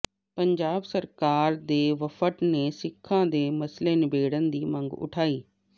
ਪੰਜਾਬ ਸਰਕਾਰ ਦੇ ਵਫ਼ਦ ਨੇ ਸਿੱਖਾਂ ਦੇ ਮਸਲੇ ਨਿਬੇੜਨ ਦੀ ਮੰਗ ਉਠਾਈ